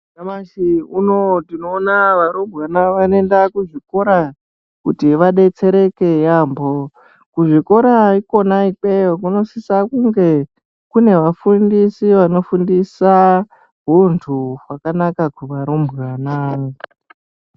Nyamashi unowu tinoona varumbwana vanoenda kuzvikora kuti vadetsereke yaambo. Kuzvikora ikona ikweyo kunosisa kunge kune vafundisi vanofundisa huntu hwakanaka kuvarumbwana.